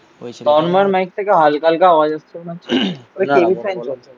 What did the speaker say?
তন্ময়ের mic থেকে হালকা হালকা আওয়াজ হচ্ছে না.